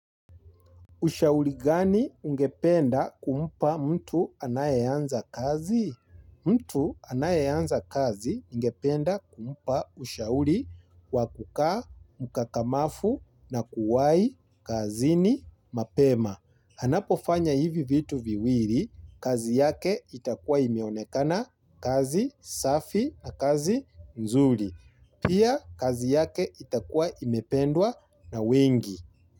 Ushauri gani ungependa kumpa mtu anayeanza kazi? Mtu anayeanza kazi ningependa kumpa ushauri wa kukaa mkakamafu na kuwai kazini mapema. Anapofanya hivi vitu viwiri, kazi yake itakua imeonekana kazi safi na kazi mzuri. Pia kazi yake itakua imependwa na wengi.